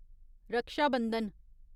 रक्षा बंधन